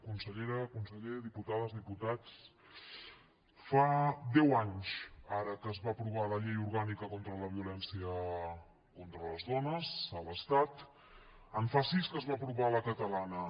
consellera conseller diputades diputats fa deu anys ara que es va aprovar la llei orgànica contra la violència contra les dones a l’estat en fa sis que es va aprovar la catalana